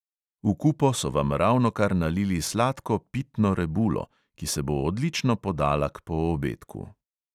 V kupo so vam ravnokar nalili sladko pitno rebulo, ki se bo odlično podala k poobedku.